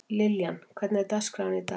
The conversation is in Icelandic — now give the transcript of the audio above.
Liljan, hvernig er dagskráin í dag?